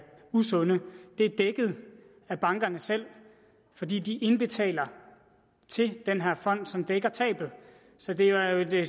usunde er dækket af bankerne selv fordi de indbetaler til den her fond som dækker tabet så det er jo